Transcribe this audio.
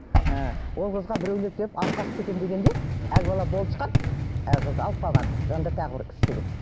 ы ол қызға біреулер келіп алып қашып кетемін дегенде әлгі бала болысқан әлгі қызды алып қалған жанында тағы бір үш жігіт